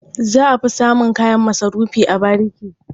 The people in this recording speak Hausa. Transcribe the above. Za a fi samun kayan masarufi a bariki.